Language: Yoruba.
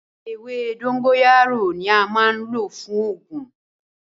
Ẹwẹ̀ dòngóyàró ni àmà n lọ̀ fún oogun.